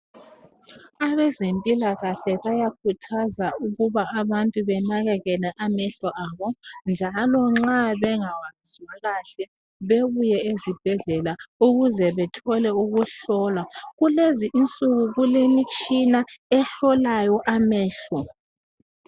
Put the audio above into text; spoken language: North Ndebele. Abezempilakahle bayakhuthaza ukuba abantu benakekele amehlo abo njalo nxa bengawazwa kahle bebuye ezibhedlela ukuze bethole ukuhlolwa. Kulezi insuku kulemitshina ehlola amehlo.